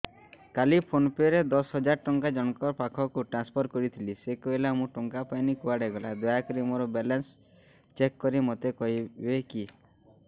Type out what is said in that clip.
କାଲି PhonePe ରେ ଦଶ ହଜାର ଟଙ୍କା ଜଣକ ପାଖକୁ ଟ୍ରାନ୍ସଫର୍ କରିଥିଲି ସେ କହିଲା ମୁଁ ଟଙ୍କା ପାଇନି କୁଆଡେ ଗଲା ଦୟାକରି ମୋର ବାଲାନ୍ସ ଚେକ୍ କରି ମୋତେ କହିବେ କି